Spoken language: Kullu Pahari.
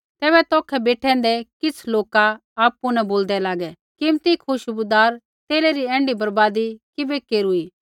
तैबै तौखै बेठैंदै किछ़ लोका आपु न बोलदै लागै कीमती खुशबूदार तेला री ऐण्ढी बर्बादी किबै केरूई